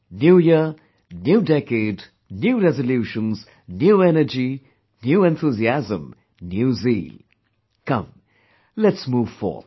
New Year, new decade, new resolutions, new energy, new enthusiasm, new zeal come let's move forth